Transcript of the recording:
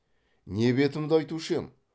не бетімді айтушы ем